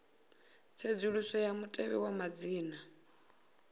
tsedzuluso ya mutevhe wa madzina